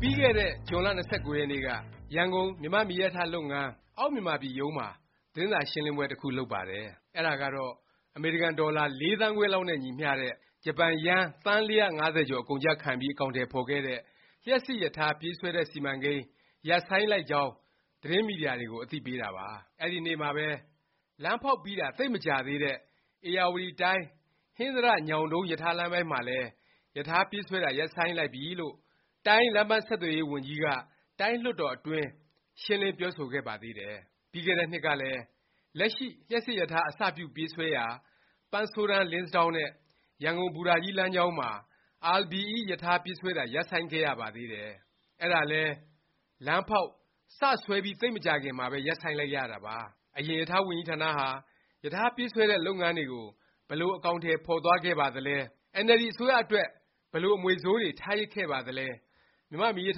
ပြီးခဲ့တဲ့ ဇွန်လ ၂၉ ရက်နေ့က ရန်ကုန်၊ မြန်မာ့ မီးရထားလုပ်ငန်း အောက်မြန်မာပြည် ရုံးမှာ သတင်းစာ ရှင်းလင်းပွဲ တစ်ခုလုပ်ပါတယ်။ အဲဒါကတော့ အမေရိကန်ဒေါ်လာ ၄ သန်းခွဲလောက်နဲ့ ညီမျှတဲ့ ဂျပန်ယန်း သန်း ၄၅၀ ကျော် အကုန်အကျခံပြီး အကောင်အထည် ဖော်ခဲ့တဲ့ လျှပ်စစ်ရထား ပြေးဆွဲတဲ့ စီမံကိန်း ရပ်ဆိုင်းလိုက်ကြောင်း သတင်းမီဒီယာတွေကို အသိပေးတာပါ။ အဲဒီနေ့မှာပဲ လမ်းဖေါက်ပြီးတာ သိပ်မကြာသေးတဲ့ ဧရာဝတီတိုင်း ဟင်္သာတ- ညောင်တုန်း ရထားလမ်းပိုင်းမှာလည်း ရထားပြေးဆွဲတာ ရပ်ဆိုင်းလိုက်ပြီလို့ တိုင်း လမ်းပန်းဆက်သွယ်ရေး ဝန်ကြီးက တိုင်းလွှတ်တော် အတွင်း ရှင်းလင်း ပြောဆိုခဲ့ပါသေးတယ်။ ပြီးခဲ့တဲ့နှစ်ကလည်း လက်ရှိ လျှပ်စစ်ရထား အစပြု ပြေးဆွဲရာ ပန်းဆိုးတန်း၊ လင်းစဒေါင်း နဲ့ ရန်ကုန် ဘူတာကြီး လမ်းကြောင်းမှာ RBE ရထားပြေးဆွဲတာ ရပ်ဆိုင်းခဲ့ရပါသေးတယ်။ အဲဒါလည်း လမ်းဖေါက်၊ စ ဆွဲပြီး သိပ်မကြာခင်မှာပဲ ရပ်ဆိုင်းလိုက်ရတာပါ။ အရင် ရထားဝန်ကြီးဌာနဟာ ရထားပြေးဆွဲတဲ့ လုပ်ငန်းတွေကို ဘယ်လို အကောင်အထည် ဖော်သွားခဲ့ပါသလဲ၊ အင်န်အယ်လ်ဒီ အစိုးရအတွက် ဘယ်လို အမွေဆိုးတွေ ထားရစ်ခဲ့ပါသလဲ၊ မြန်မာ့မီးရ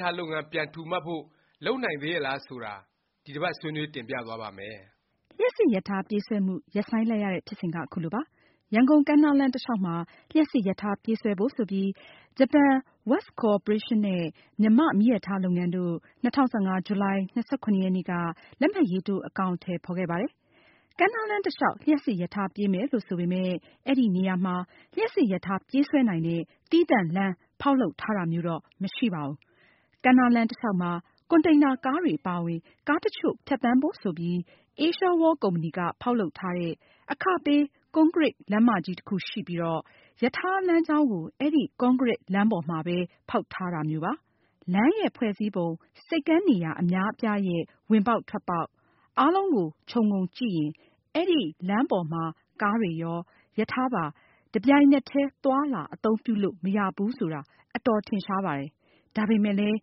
ထားလုပ်ငန်း ပြန်ထူမတ်ဖို့ လုပ်နိုင်သေးရဲ့လား ဆိုတာ ဒီတစ်ပါတ် ဆွေးနွေး တင်ပြသွားပါ့မယ်။ လျှပ်စစ်ရထား ပြေးဆွဲမှု ရပ်ဆိုင်းလိုက်ရတဲ့ ဖြစ်စဉ်က ခုလိုပါ။ ရန်ကုန် ကမ်းနားလမ်း တစ်လျောက်မှာ လျှပ်စစ်ရထား ပြေးဆွဲဖို့ ဆိုပြီး ဂျပန် West Corporation နဲ့ မြန်မာ့ မီးရထား လုပ်ငန်းတို့ ၂၀ ၁၅ ဇူလိုင် ၂၇ ရက်နေ့က လက်မှတ်ရေးထိုး အကောင်အထည် ဖော်ခဲ့ပါတယ်။ ကမ်းနားလမ်း တစ်လျောက် လျှပ်စစ်ရထား ပြေးမယ်လို့ ဆိုပေမယ့် အဲဒီနေရာမှာ လျှပ်စစ်ရထား ပြေးဆွဲနိုင်တဲ့ သီးသန့်လမ်း ဖေါက်လုပ်ထားတာမျိုးတော့ မရှိပါဘူး။ ကမ်းနားလမ်း တစ်လျောက်မှာ ကွန်တိန်နာ ကားတွေ အပါအဝင် ကားတစ်ချို့ ဖြတ်သန်းဖို့ဆိုပြီး အေးရှားဝေါလ် ကုမ္ပဏီက ဖေါက်လုပ်ထားတဲ့ အခပေး ကွန်ကရစ် လမ်းမကြီးတစ်ခုရှိပြီး ရထားလမ်းကြောင်းကို အဲဒီ ကွန်ကရစ် လမ်းပေါ်မှာပဲ ဖေါက်ထားတာမျိုးပါ။ လမ်းရဲ့ ဖွဲ့စည်းပုံ၊ ဆိပ်ကမ်းနေရာ အများအပြားရဲ့ ဝင်ပေါက်ထွက်ပေါက်၊ အားလုံးကို ခြုံငုံကြည့်ရင် အဲဒီ လမ်းပေါ်မှာ ကားတွေရော၊ ရထားပါ တစ်ပြိုင်နက်တည်း သွားလာ အသုံးပြုလို့ မရဘူးဆိုတာ အတော် ထင်ရှားပါတယ်။ ဒါပေမယ့်လည်း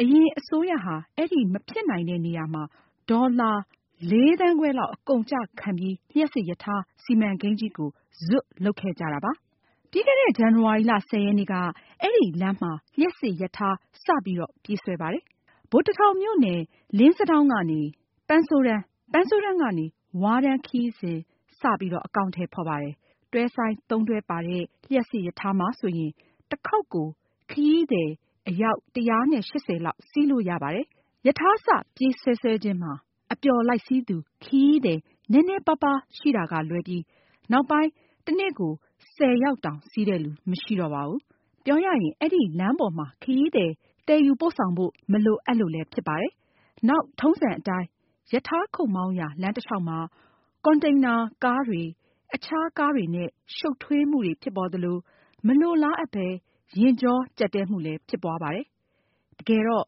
အရင် အစိုးရဟာ အဲဒီ မဖြစ်နိုင်တဲ့ နေရာမှာ ဒေါ်လာ ၄ သန်းခွဲလောက် အကုန်အကျ ခံပြီး လျှပ်စစ်ရထား စီမံကိန်းကြီးကို ဇွတ် လုပ်ခဲ့ကြတာပါ။ ပြီးခဲ့တဲ့ ဇန်နဝါရီ ၁၀ ရက်နေ့က အဲဒီ လမ်းမှာ လျှပ်စစ်ရထား စ ပြေးဆွဲပါတယ်။ ဗိုလ်တစ်ထောင်မြို့နယ် လင်းစဒေါင်းကနေ ပန်းဆိုးတန်း၊ ပန်းဆိုးတန်းကနေ ဝါးတန်း ခရီးစဉ် စ အကောင်အထည် ဖော်ပါတယ်။ တွဲဆိုင်း ၃ တွဲပါတဲ့ လျှပ်စစ်ရထားမှာဆိုရင် တစ်ခေါက်ကို ခရီးသည် အယောက် ၁၈၀ လောက် စီးလို့ရပါတယ်။ ရထားစ ပြေးဆွဲဆွဲခြင်းမှာ အပျော်လိုက်စီးသူ ခရီးသည် နည်းနည်းပါးပါး ရှိတာကလွဲပြီး နောက်ပိုင်း တစ်နေ့ ၁၀ ယောက်တောင် စီးတဲ့လူ မရှိတော့ပါဘူး။ ပြောရရင် အဲဒီ လမ်းပိုင်းမှာ ခရီးသည် သယ်ယူပို့ဆောင်ဖို့ မလိုအပ်လို့လည်း ဖြစ်ပါတယ်။ နောက် ထုံးစံအတိုင်း ရထားခုတ်မောင်းရာ လမ်းတစ်လျောက်မှာ ကွန်တင်နာ ကားတွေ၊ အခြား ကားတွေနဲ့ ရှုတ်ထွေးမှုတွေ ဖြစ်ပေါ်သလို၊ မလိုလားအပ်ပဲ ယာဉ်ကြောကြပ်တည်းမှုလည်း ဖြစ်ပွားပါတယ်။ တကယ်တော့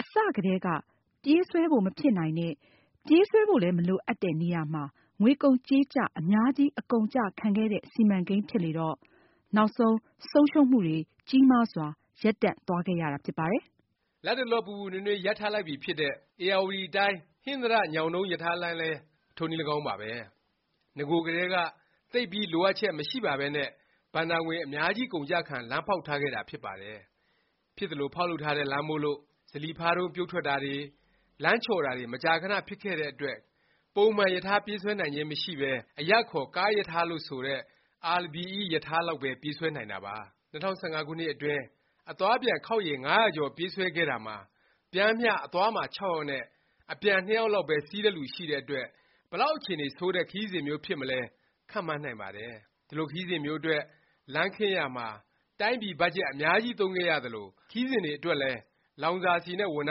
အစကတည်းက ပြေးဆွဲဖို့ မဖြစ်နိုင်တဲ့၊ ပြေးဆွဲဖို့ မလိုအပ်တဲ့ နေရာမှာ ငွေကုန်ကြေးကျ အများကြီး အကုန်အကျ ခံခဲ့တဲ့ စီမံကိန်း ဖြစ်လေတော့ နောက်ဆုံး ဆုံးရှုံးမှု ကြီးမားစွာနဲ့ ရပ်တန့်သွားခဲ့ရတာ ဖြစ်ပါတယ်။ လတ်တလော ပူပူနွေးနွေး ရပ်ထားလိုက်ပြီဖြစ်တဲ့ ဧရာဝတီတိုင်း ဟင်္သာတ- ညောင်တုန်း ရထားလမ်းလည်း ထိုးနည်း၎င်းပါပဲ။ နဂိုကတည်းက သိပ်ပြီး လိုအပ်ချက် မရှိပါပဲနဲ့ ဘဏ္ဍာငွေ အများကြီး အကုန်အကျခံ လမ်းဖေါက်ထားခဲ့တာ ဖြစ်ပါတယ်။ ဖြစ်သလို ဖေါက်လုပ်ထားတဲ့ လမ်းမို့လို့ ဇလီဖါးတုန်း ပြုတ်ထွက်တာတွေ၊ လမ်းချော်တာတွေ မကြာခဏ ဖြစ်တဲ့အတွက် ပုံမှန် ရထားပြေးဆွဲနိုင်ခြင်း မရှိပဲ အရပ်အခေါ် ကားရထားလို့ ဆိုတဲ့ RBE လောက်ပဲ ပြေးဆွဲနိုင်တာပါ။ ၂၀၁၅ ခုနှစ်အတွင်း အသွားအပြန် ခေါက်ရေ ငါးရာကျော် ပြေးဆွဲခဲ့တာမှာ ပျမ်းမျှ အသွားမှာ ၆ ယောက်နဲ့ အပြန် ၂ ယောက်လောက်ပဲ စီးတဲ့လူ ရှိတဲ့အတွက် ဘယ်လောက် အခြေအနေ ဆိုးတဲ့ ခရီးစဉ်မျိုး ဖြစ်မလဲ ခန့်မှန်းနိုင်ပါတယ်။ ဒီလို ခရီးစဉ်မျိုးအတွက် လမ်းခင်းရာမှာ တိုင်းပြည် ဘတ်ဂျက် အများကြီး သုံးခဲ့ရသလို၊ ခရီးစဉ်တွေအတွက်လည်း လောင်စာဆီနဲ့ ဝန်ထ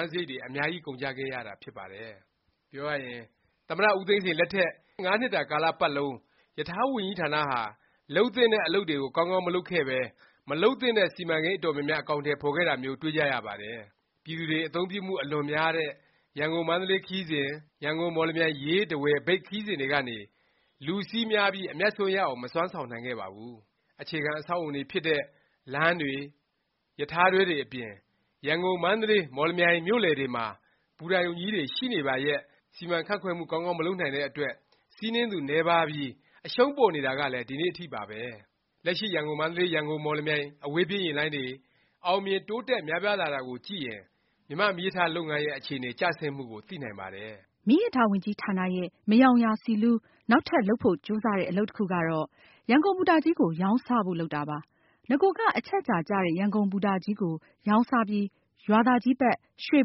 မ်းစားရိတ်တွေ အများကြီး ကုန်ကျခဲ့တာ ဖြစ်ပါတယ်။ ပြောရရင် သမ္မတ ဦးသိန်းစိန် လက်ထက် ငါးနှစ်တာ ကာလ ပတ်လုံး ရထားဝန်ကြီးဌာနဟာ လုပ်သင့်တဲ့ အလုပ်တွေကို ကောင်းကောင်း မလုပ်ခဲ့ပဲ၊ မလုပ်သင့်တဲ့ စီမံကိန်း အတော်များများ အကောင်အထည် ဖော်ခဲ့တာမျိုး တွေ့ကြရပါတယ်။ ပြည်သူတွေ အသုံးပြုမှု အလွန်များတဲ့ ရန်ကုန်-မန္တလေး ခရီးစဉ်၊ ရန်ကုန်- မော်လမြိုင်- ရေး-ထားဝယ်- မြိတ် ခရီးစဉ်တွေကနေ လူစီးများပြီး အမြန်အစွန်း ရအောင် မစွမ်းဆောင်နိုင်ခဲ့ပါဘူး။ အခြေခံ အဆောက်အဦဖြစ်တဲ့ လမ်းတွေ၊ ရထားတွဲတွေ အပြင်၊ ရန်ကုန်၊ မန္တလေး၊ မော်လမြိုင် မြို့လည်တွေမှာ ဘူတာရုံကြီးတွေ ရှိနေပါလျက် စီမံခန့်ခွဲမှု ကောင်းကောင်း မလုပ်နိုင်တဲ့အတွက် စီးနင်းသူ နည်းပါးပြီး အရှုံးပေါ်နေတာလည်း ဒီကနေ့ အထိပါပဲ။ လက်ရှိ ရန်ကုန်- မန္တလေး၊ ရန်ကုန်- မော်လမြိုင် အဝေးပြေး ယာဉ်လိုင်းတွေ အောင်မြင်၊ တိုးတက် များပြားလာတာကိုကြည့်ရင် မြန်မာ့မီးရထား လုပ်ငန်းရဲ့ အခြေအနေကျဆင်းမှုကို သိနိုင်ပါတယ်။ မီးရထားဝန်ကြီးဌာနရဲ့ မယောင်ရာ ဆီလူး၊ နောက်ထပ် လုပ်ဖို့ ကြိုးစားတဲ့ အလုပ်တစ်ခုကတော့ ရန်ကုန်ဘူတာကြီးကို ရောင်းစားဖို့ လုပ်တာပါ။ နဂိုက အချက်အခြာကျတဲ့ ရန်ကုန်ဘူတာကြီးကို ရောင်းစားပြီး ရွာသာကြီးဘက် ရွှေ့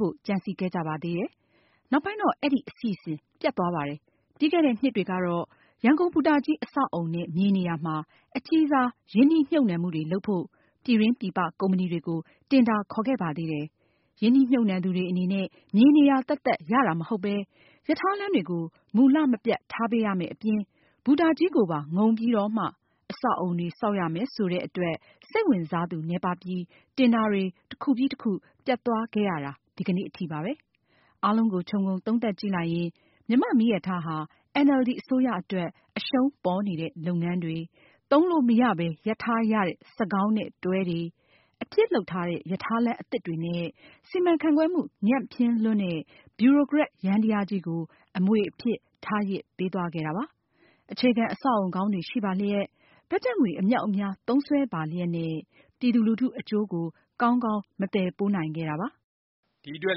ဖို့ ကြံစည်ခဲ့ကြပါသေးတယ်။ နောက်ပိုင်းတော့ အဲဒီ အစီအစဉ် ပျက်သွားပါတယ်။ ပြီးခဲ့တဲ့နှစ်တွေကတော့ ရန်ကုန်ဘူတာကြီး အဆောက်အဦနဲ့ မြေနေရာမှာ အကြီးစား ရင်းနှီးမြှုပ်နှံမှုတွေ လုပ်ဖို့ ပြည်တွင်းပြည်ပ ကုမ္ပဏီတွေကို တင်ဒါ ခေါ်ခဲ့ပါသေးတယ်။ ရင်းနှီးမြုပ်နှံသူတွေ အနေနဲ့ မြေနေရာ သက်သက် ရတာမဟုတ်ပဲ၊ ရထားလမ်းတွေကို မူလ မပျက်ထားပေးရမယ့် အပြင်၊ ဘူတာကြီး ကိုပါ ငုံပြီးတော့မှ အဆောက်အဦတွေ ဆောက်ရမယ် ဆိုတဲ့အတွက် စိတ်ဝင်စားသူ နည်းပါးပြီး တင်ဒါတွေ တစ်ခုပြီး တစ်ခု ပျက်သွားခဲ့ရတာ ဒီကနေ့ အထိပါပဲ။ အားလုံးကို ခြုံငုံသုံးသပ်ကြည့်လိုက်ရင် မြန်မာ့မီးရထားဟာ အင်န်အယ်လ်ဒီ အစိုးရအတွက် အရှုံးပေါ်နေတဲ့ လုပ်ငန်းတွေ၊ သုံးလို့မရပဲ ရပ်ထားရတဲ့ စက်ခေါင်းနဲ့ တွဲတွေ၊ အဖြစ်လုပ်ထားတဲ့ ရထားလမ်းအသစ်တွေနဲ့ စီမံခန့်ခွဲမှု ညံ့ဖျင်းလွန်းတဲ့ ဗျူရိုကရက် ယန္တယားကြီးကို အမွေအဖြစ် ထားရစ်ပေးသွားခဲ့တာပါ။ အခြေခံ အဆောက်အဦကောင်းတွေ ရှိပါလျက်၊ ဘတ်ဂျက်ငွေ အမြောက် အများ သုံးစွဲပါလျက်နဲ့ ပြည်သူလူထု အကျိုးကို ကောင်းကောင်း မသယ်ပိုးနိုင်ခဲ့တာပါ။ ဒီအတွက်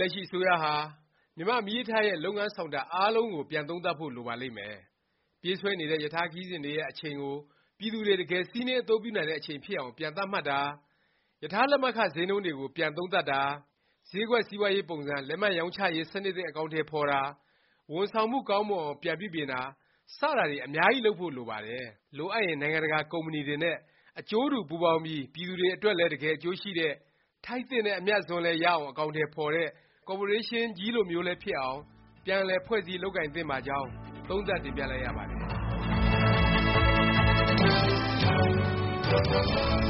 လက်ရှိ အစိုးရဟာ မြန်မာ့မီးရထားရဲ့ လုပ်ငန်းဆောင်တာ အားလုံးကို ပြန်သုံးသပ်ဖို့ လိုပါလိမ့်မယ်။ ပြေးဆွဲနေတဲ့ ရထားခရီးစဉ်တွေရဲ့ အချိန်ကို ပြည်သူတွေ တကယ် စီးနင်း အသုံးပြုနိုင်တဲ့ အချိန်ဖြစ်အောင် ပြန်သတ်မှတ်တာ၊ ရထား လက်မှတ်ခ ဈေးနှုန်းတွေကို ပြန်သုံးသပ်တာ၊ ဈေးကွက်စီးပွားရေး ပုံစံ လက်မှတ်ရောင်းချရေး စနစ်သစ် အကောင်အထည် ဖော်တာ၊ ဝန်ဆောင်မှု ကောင်းမွန်အောင် ပြန်ပြုပြင်တာ စတာတွေ အများကြီး လုပ်ဖို့ လိုပါတယ်။ လိုအပ်ရင် နိုင်ငံတကာ ကုမ္ပဏီတွေနဲ့ အကျိုးတူ ပူးပေါင်းပြီး ပြည်သူတွေအတွက်လည်း တကယ် အကျိုးရှိတဲ့၊ ထိုက်သင့်တဲ့ အမြတ်အစွန်းလည်း ရအောင် အကောင်အထည် ဖော်တဲ့ ကော်ပိုရေးရှင်းကြီးလိုမျိုး ဖြစ်အောင် ပြန်လည် ဖွဲ့စည်း လုပ်ကိုင်သင့်ပါကြောင်း သုံးသပ်တင်ပြလိုက်ရပါတယ်